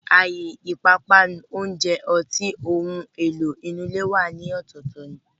Àyè ìpápánu, oúnjẹ, ọtí, ohun àlò inú ilé wà ní ọ̀tọ̀ọ̀tọ̀ ni